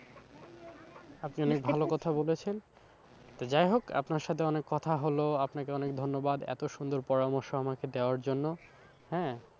আপনি অনেক ভালো কথা বলেছেন তো যাই হোক আপনার সাথে অনেক কথা হলো আপনাকে অনেক ধন্যবাদ, এত সুন্দর পরামর্শ আমাকে দেওয়ার জন্য হ্যাঁ।